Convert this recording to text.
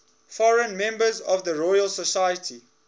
foreign members of the royal society